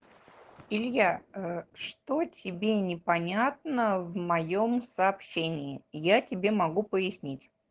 илья что тебе непонятно в моём сообщении я тебе могу пояснить